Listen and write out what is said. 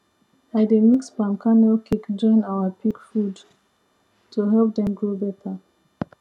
i dey mix palm kernel cake join our pig food to help dem grow better